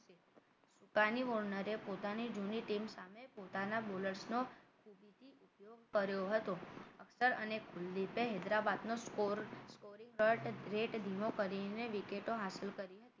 Warner પોતાની જૂની team સામે પોતાના bowler નો ઉપયોગ કર્યો હતો અફટર અને ખુલીસે હૈદરાબાદનો score scoring rate ધીમો કરીને વિકેટો હંસલ કરી હતી